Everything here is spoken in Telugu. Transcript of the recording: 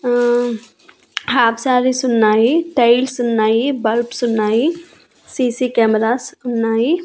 అహ్ హాఫ్ సారీస్ ఉన్నాయి టైల్స్ ఉన్నాయి బల్బ్స్ ఉన్నాయి సి_సి కెమెరాస్ ఉన్నాయి.